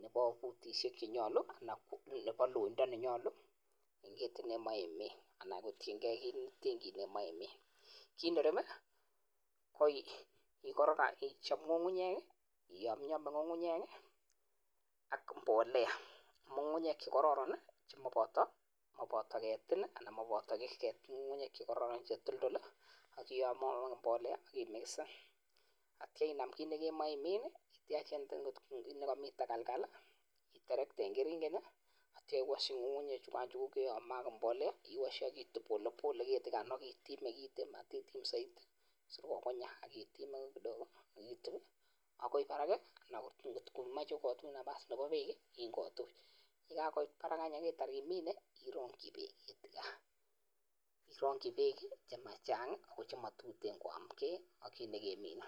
nebo futishek chenyalu ana nebaloinda nenyalu en ketit nemai imin , kit nerube koichap ng'ung'unyek yamyami ng'ung'unyek ak mbolea , ng'ung'unyek chekararn chematinye ketik, chetoldol akiyame ak mbolea akimixen ,atya inam ki nikemache imin ityach kotkokamii takalkal iterekete en keringet atya iwashi ng'ung'unyek chukan chekayame ak mbolea , iwashe akitp pole pole keti kanwakit itime kiten matitim saiti sikokonyak akitime kidogo akitup akoi parak anan komache kotuch nafas nebo pek ingotuch , ye kakoit parak akitar imine irangchi pek chemachang ak chematuten koake ak kit nekemine.